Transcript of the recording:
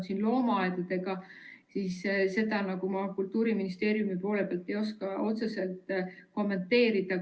Kui loomaaiad, siis seda ma Kultuuriministeeriumi poole pealt ei oska otseselt kommenteerida.